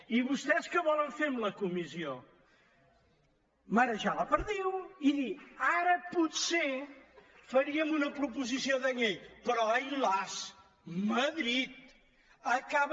i vostès què volen fer amb la comissió marejar la perdiu i dir ara potser faríem una proposició de llei però ai las madrid acaben